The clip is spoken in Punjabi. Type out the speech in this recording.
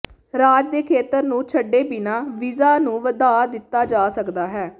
ਰਾਜ ਦੇ ਖੇਤਰ ਨੂੰ ਛੱਡੇ ਬਿਨਾਂ ਵੀਜ਼ਾ ਨੂੰ ਵਧਾ ਦਿੱਤਾ ਜਾ ਸਕਦਾ ਹੈ